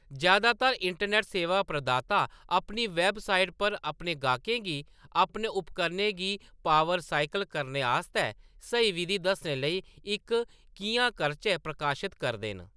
जैदातर इंटरनेट सेवा प्रदाता अपनी वेबसाइट पर अपने गाह्‌‌कें गी अपने उपकरणें गी पावर साइकल करने आस्तै स्हेई विधी दस्सने लेई इक 'किʼयां-करचै' प्रकाशत करदे न।